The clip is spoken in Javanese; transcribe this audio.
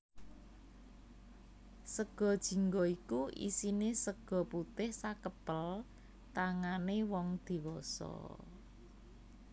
Sega jinggo iku isine sega putih sakepel tangane wong diwasa